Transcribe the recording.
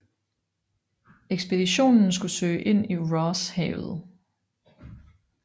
Ekspeditionen skulle søge ind i Ross Havet